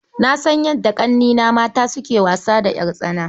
Na san yadda ƙannena mata suke wasa da ƴartsana.